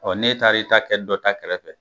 Ɔ ne taara i ta kɛ dɔ ta kɛrɛfɛ